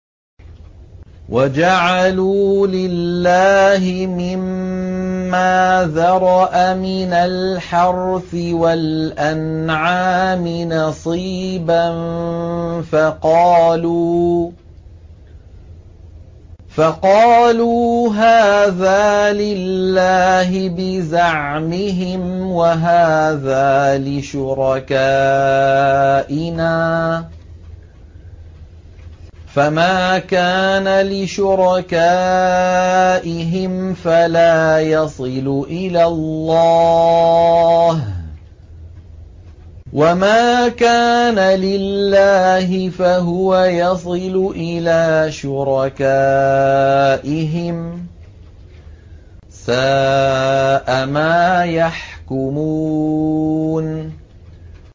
وَجَعَلُوا لِلَّهِ مِمَّا ذَرَأَ مِنَ الْحَرْثِ وَالْأَنْعَامِ نَصِيبًا فَقَالُوا هَٰذَا لِلَّهِ بِزَعْمِهِمْ وَهَٰذَا لِشُرَكَائِنَا ۖ فَمَا كَانَ لِشُرَكَائِهِمْ فَلَا يَصِلُ إِلَى اللَّهِ ۖ وَمَا كَانَ لِلَّهِ فَهُوَ يَصِلُ إِلَىٰ شُرَكَائِهِمْ ۗ سَاءَ مَا يَحْكُمُونَ